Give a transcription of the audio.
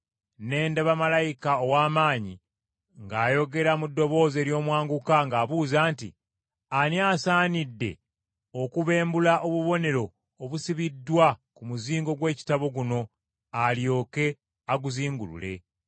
Ne ndaba malayika ow’amaanyi ng’ayogera mu ddoboozi ery’omwanguka ng’abuuza nti, “Ani asaanidde okubembulula obubonero obusibiddwa ku muzingo gw’ekitabo guno alyoke aguzingulule?”